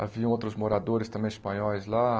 Haviam outros moradores também espanhóis lá.